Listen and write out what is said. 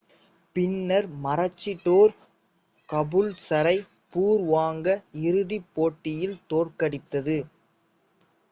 பின்னர் மருச்சிடோர் கபூல்சரைத் பூர்வாங்க இறுதிப் போட்டியில் தோற்கடித்தது